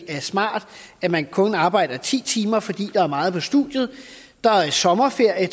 er smart at man kun arbejder ti timer fordi der er meget på studiet der er en sommerferie